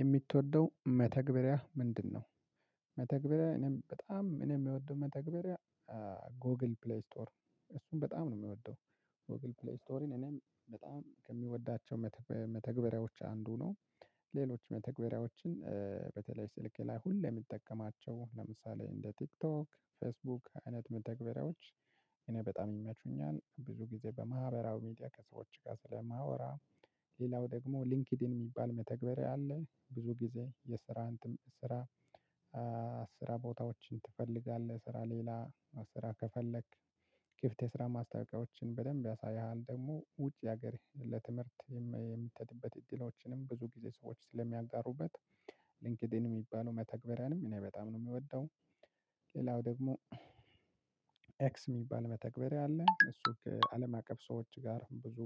የሚትወደው መተግበሪያ ምንድነው? መተግበሪያ እኔ በጣም እኔ የምወደው መተግበሪያ ጎግል ፕሌይ ስቶር እሱን በጣም ነው የምወደው ጎግል ፕሌይ ስቶርን እኔ በጣም ከምወዳቸው መተግ መተግበርያዎች አንዱ ነው። ሌሎች መተግበሪያዎችን በተለይ ስልኬ ላይ ሁሌ የምጠቀማቸው ለምሳሌ እንደ ቲክቶክ ፌስቡክ አይነት መተግበሪያዎች እኔ በጣም ይመቹኛል ብዙ ጊዜ በማህበራዊ ሚዲያ ከሰዎች ጋር ስለማወራ። ሌላው ደግሞ ሊንክድን የሚባል መተግበር አለ ብዙ ጊዜ የስራን እንትን ስራ። ስራ ቦታዎችን ትፈልጋለህ ስራ ሌላ ስራ ከፈለክ ክፍት የስራ ማስታወቂያዎችን በደንብ ያሳይሃል። ደግሞ ውጪ ሀገር ለትምህርት የሚ የሚሄድበት እድሎችንም ብዙ ጊዜ ሰዎች ስለሚያጋሩበት። ሊንክድን የምበላውን መተግበሪያንም እኔ በጣም ነው የምወደው። ሌላው ደግሞ ኤክስ የሚባል መተግበሪያ አለ እሱ አለም አቀፍ ሰዎች ጋር ብዙ